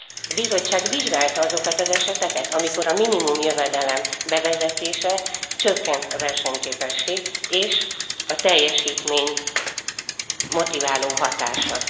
A Bizottság vizsgálta azokat az eseteket, amikor a minimumjövedelem bevezetésével csökkent a versenyképesség és a teljesítmény motiváló hatása?